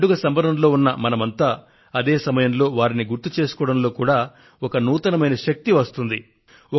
పండుగ సంబరంలో ఉన్న మనం అందరమూ అదే సమయంలో వారిని గుర్తు చేసుకోవడంలో సైతం ఒక నూతన శక్తి ఉత్పన్నం అవుతుంది